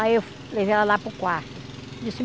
Aí eu levei ela lá para o quarto.